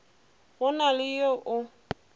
go na le yo o